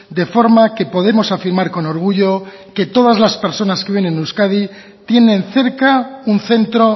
de forma que podemos afirmar con orgullo que todas las personas que viven en euskadi tienen cerca un centro